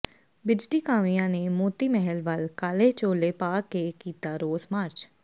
ਬਿਜਲੀ ਕਾਮਿਆਂ ਨੇ ਮੋਤੀ ਮਹਿਲ ਵੱਲ ਕਾਲੇ ਚੋਲੇ ਪਾ ਕੇ ਕੀਤਾ ਰੋਸ ਮਾਰਚ